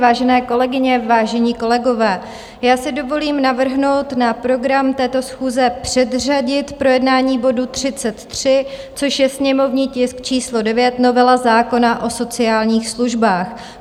Vážené kolegyně, vážení kolegové, já si dovolím navrhnout na program této schůze předřadit projednání bodu 33, což je sněmovní tisk číslo 9 - novela zákona o sociálních službách.